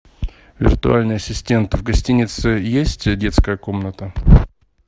виртуальный ассистент в гостинице есть детская комната